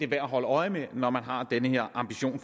værd at holde øje med når man har den her ambition